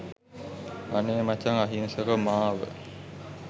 අනේ මචං අහිංසක මාව